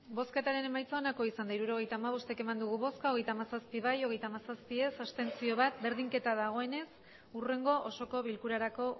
hirurogeita hamabost eman dugu bozka hogeita hamazazpi bai hogeita hamazazpi ez bat abstentzio berdinketa dagoenez hurrengo osoko bilkurarako